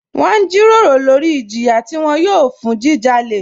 Wọn n jírọ̀rọ̀ lórí ìjìyà tí wọn yòò fún ọ̀ fún jíjálẹ̀.